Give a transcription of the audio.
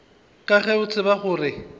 ka ge o tseba gore